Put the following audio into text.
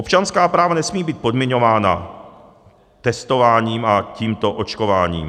Občanská práva nesmí být podmiňována testováním a tímto očkováním.